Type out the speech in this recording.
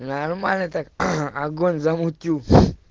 да нормально так огонь замутил сь